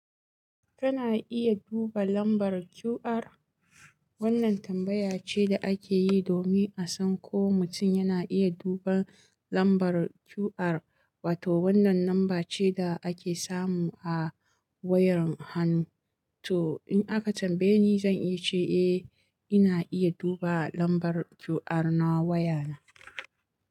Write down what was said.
Kana iya duba lambar QR. Wannan tambaya ce da ake yi domin a san ko mutum yana iya duban lambar QR wato wannan lambar ce da ake samu a wayar hannu to in aka tambaye ni zan iya ce ina iya duba lambar QR na wayana.